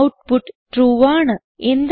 output true ആണ്